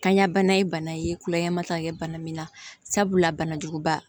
Kanya bana ye bana ye kulɛri ma taa bana min na sabula banajuguba